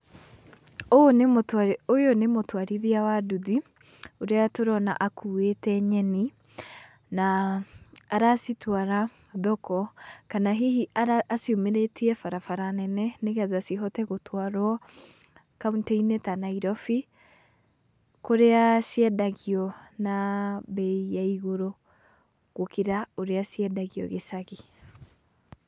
Ũũ nĩmũtwarithia ũyũ nĩ mũtwarithia wa nduthi, ũrĩa tũrona akuĩte nyeni, na aracitwara thoko, kana hihi aciumĩrĩtie barabara nene nĩgetha cihote gũtwarwo kauntĩ-inĩ ta Nairobi, kũrĩa ciendagio na mbei ya igũrũ gũkĩra ũrĩa ciendagio gĩcagi.